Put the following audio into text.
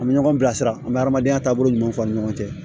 An bɛ ɲɔgɔn bilasira an bɛ adamadenya taabolo ɲuman fɔ an ni ɲɔgɔn cɛ